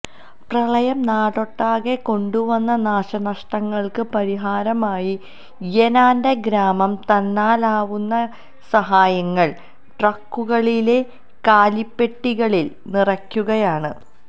പ്രളയം നാടൊട്ടാകെ കൊണ്ടുവന്ന നാശനഷ്ടങ്ങൾക്ക് പരിഹാരമായി യെനാൻ്റെ ഗ്രാമം തന്നാലാവുന്ന സഹായങ്ങൾ ട്രക്കുകളിലെ കാലിപ്പെട്ടികളിൽ നിറയ്ക്കുകയാണ്